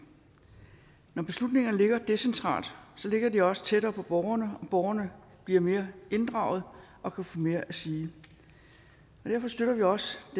når beslutningerne ligger decentralt ligger de også tættere på borgerne og borgerne bliver mere inddraget og kan få mere at sige derfor støtter vi også